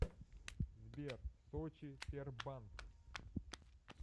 сбер сочи тербанк